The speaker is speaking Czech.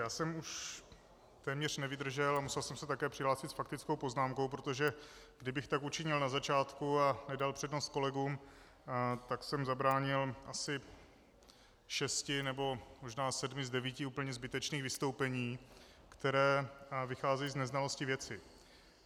Já jsem už téměř nevydržel a musel jsem se také přihlásit s faktickou poznámkou, protože kdybych tak učinil na začátku a nedal přednost kolegům, tak jsem zabránil asi šest nebo možná sedmi z devíti úplně zbytečných vystoupení, která vycházejí z neznalosti věci.